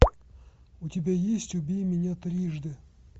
у тебя есть убей меня трижды